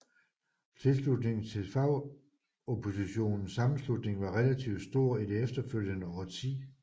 Tilslutningen til Fagoppositionens Sammenslutning var relativt stor i det efterfølgende årti